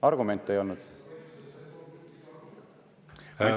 Argumente ei olnud?